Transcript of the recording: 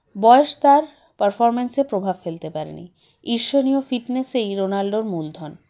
বয়স তার performance -এ প্রভাব ফেলতে পারেনি ঈর্ষণীয় fitness -এই রোনাল্ডোর মূলধন